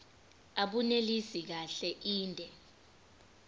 abunelisi kahle inde